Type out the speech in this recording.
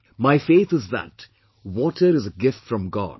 My faith is that water is a Gift from God